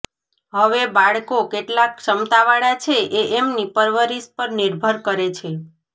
હવે બાળકો કેટલા ક્ષમતા વાળા છે એ એમની પરવરીશ પર નિર્ભર કરે છે